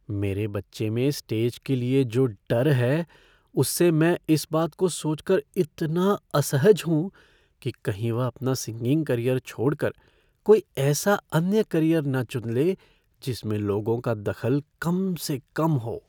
मेरे बच्चे में स्टेज के लिए जो डर है उससे मैं इस बात को सोच कर इतना असहज हूँ कि कहीं वह अपना सिंगिंग करियर छोड़ कर कोई ऐसा अन्य करियर न चुन ले जिसमें लोगों का दखल कम से कम हो।